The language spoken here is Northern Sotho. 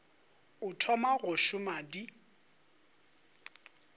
o thoma go šoma di